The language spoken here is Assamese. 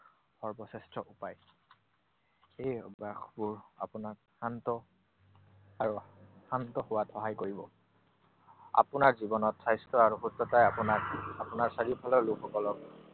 সৰ্বশ্ৰেষ্ঠ উপায়। এই অভ্যাসবোৰ আপোনাক শান্ত আৰু শান্ত হোৱাত সহায় কৰিব। আপোনাৰ জীৱনত স্বাস্থ্য আৰু সুস্থতাই আপোনাক আপোনাৰ চাৰিওফালৰ লোকসকলক